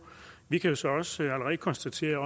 vi kan så også allerede konstatere